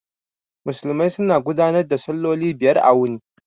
Musulmai suna gudanar da salloli biyar a wuni